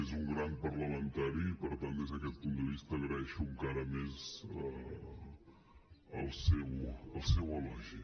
és un gran parlamentari i per tant des d’aquest punt de vista agraeixo encara més el seu elogi